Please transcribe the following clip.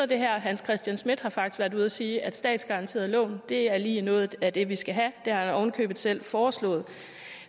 det her hans christian schmidt har faktisk været ude at sige at statsgaranterede lån er lige noget af det vi skal have det har han købet selv foreslået